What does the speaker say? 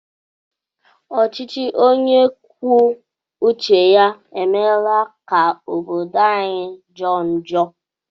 Ọchịchị onye kwuo uche ya emeela ka obodo anyi jọọ njọ.